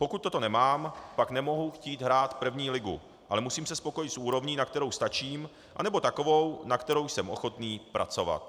Pokud toto nemám, pak nemohu chtít hrát první ligu, ale musím se spokojit s úrovní, na kterou stačím, anebo takovou, na kterou jsem ochotný pracovat.